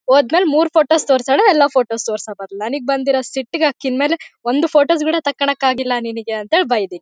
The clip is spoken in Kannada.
ಹೋದ್ಮೇಲೆ ಮೂರ್ ಫೋಟೋಸ್ ತೋರಿದಾಳೆ ಎಲ್ಲಾ ಫೋಟೋ ತೋರ್ಸಿ ಆತಂತೆ ನಾನೀಗ ಬಂದಿರೋ ಸಿಟ್ ಗೆ ಅಕಿ ಮೇಲೆ ಒಂದ್ ಫೋಟೋಸ್ ಬೇರೆ ತಕೊಳ್ಳಕ್ಕೆ ಆಗಿಲ್ಲಾ ಅಂತ ಬೈದಿ.